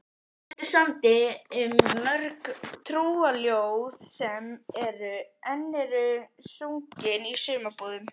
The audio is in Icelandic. Pétur samdi mörg trúarljóð sem enn eru sungin í sumarbúðunum.